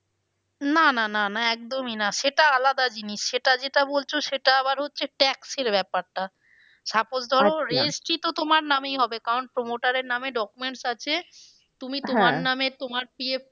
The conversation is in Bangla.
না না না না একদমই না সেটা আলাদা জিনিস সেটা যেটা বলছো সেটা আবার হচ্ছে tax এর ব্যাপারটা suppose registry তো তার নামেই হবে কারণ promoter এর নামে documents আছে তুমি তোমার নামে তোমার